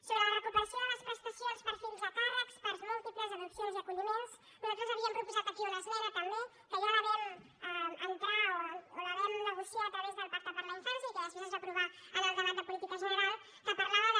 sobre la recuperació de les prestacions per fills a càrrecs parts múltiples adopcions i acolliments nosaltres havíem proposat aquí una esmena també que ja la vam entrar o la vam negociar a través del pacte per a la infància i que després es va aprovar en el debat de política general que parlava de